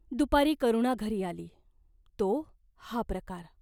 दुपारी करुणा घरी आली, तो हा प्रकार.